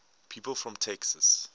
people from texas